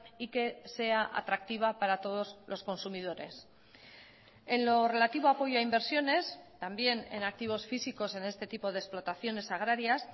y que sea atractiva para todos los consumidores en lo relativo a apoyo a inversiones también en activos físicos en este tipo de explotaciones agrarias